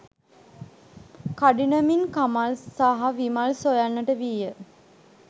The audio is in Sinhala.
කඩිනමින් කමල් සහ විමල් සොයන්නට විය